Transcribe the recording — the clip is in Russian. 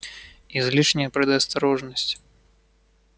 излишняя предосторожность